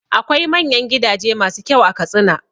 Akwai manyan gidaje masu kyau a Katsina.